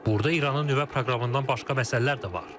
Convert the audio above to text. Burda İranın nüvə proqramından başqa məsələlər də var.